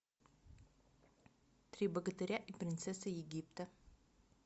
три богатыря и принцесса египта